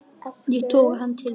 Ég toga hann til mín.